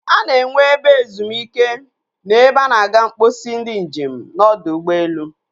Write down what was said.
A na-enwe ebe ezum ike na ebe a na-aga mposi ndị njem n'ọdọ ụgbọelu.